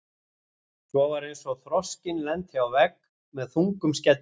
Svo var eins og þroskinn lenti á vegg með þungum skelli.